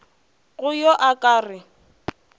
go yo a ka re